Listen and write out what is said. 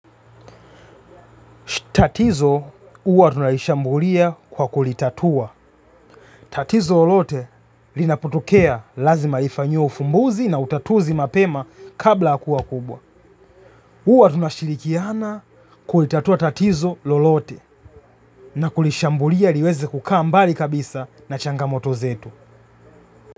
Tatizo uwa tunalishambulia kwa kulitatua. Tatizo lolote linaputokea lazima lifanyo ufumbuzi na utatuzi mapema kabla hakuwa kubwa. Uwa tunashirikiana kulitatua tatizo lolote na kulishambulia liweze kukaa mbali kabisa na changamoto zetu.